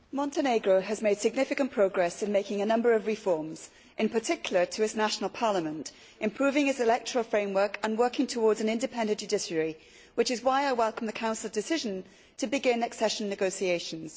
Madam President, Montenegro has made significant progress in making a number of reforms, in particular to its national parliament, improving its electoral framework and working towards an independent judiciary, which is why I welcome the Council decision to begin accession negotiations.